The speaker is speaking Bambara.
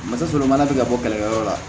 O tɛ sɔrɔ mana ti ka bɔ kɛlɛkɛyɔrɔ la